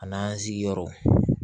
A n'an sigiyɔrɔ